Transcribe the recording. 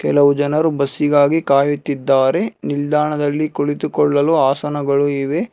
ಹಲವು ಜನರು ಬಸಿಗಾಗಿ ಕಾಯುತ್ತಿದ್ದಾರೆ ನಿಲ್ದಾಣದಲ್ಲಿ ಕುಳಿತುಕೊಳ್ಳಲು ಹಾಸನಗಳು ಇವೆ.